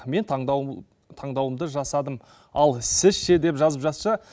мен таңдауымды жасадым ал сіз ше деп жазып жатса